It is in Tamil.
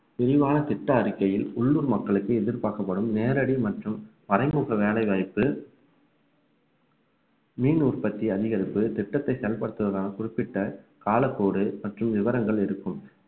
விரிவான திட்ட அறிக்கையில் உள்ளூர் மக்களுக்கு எதிர்பார்க்கப்படும் நேரடி மற்றும் மறைமுக வேலைவாய்ப்பு மீன் உற்பத்தி அதிகரிப்பு திட்டத்தை செயல்படுத்துவதாக குறிப்பிட்ட காலக்கோடு மற்றும் விவரங்கள் இருக்கும்